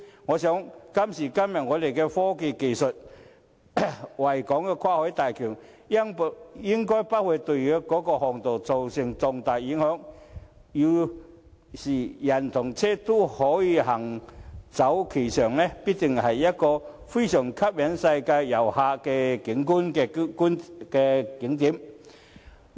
憑着今時今日的科技，維港跨海大橋應不會對航道造成重大影響，要是人車均可行走其上，必定成為一個非常吸引世界遊客的景點。